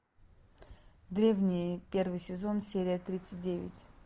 древние первый сезон серия тридцать девять